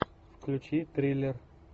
включи триллер